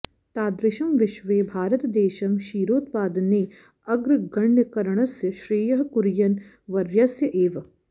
तादृशं विश्वे भारतदेशं क्षीरोत्पादने अग्रगण्यकरणस्य श्रेयः कुरियन् वर्यस्य एव